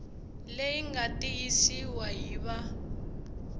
leyi nga tiyisiwa hi va